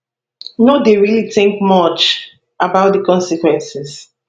no dey really think too much about di consequences